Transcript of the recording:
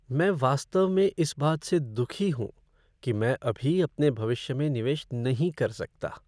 मैं वास्तव में इस बात से दुखी हूँ कि मैं अभी अपने भविष्य में निवेश नहीं कर सकता।